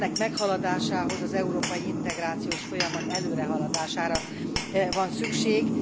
Ennek meghaladásához az európai integrációs folyamat előrehaladására van szükség.